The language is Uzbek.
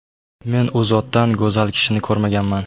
Men U zotdan go‘zal kishini ko‘rmaganman”.